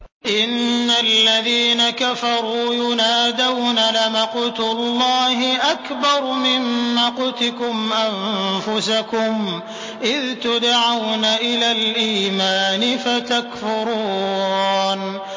إِنَّ الَّذِينَ كَفَرُوا يُنَادَوْنَ لَمَقْتُ اللَّهِ أَكْبَرُ مِن مَّقْتِكُمْ أَنفُسَكُمْ إِذْ تُدْعَوْنَ إِلَى الْإِيمَانِ فَتَكْفُرُونَ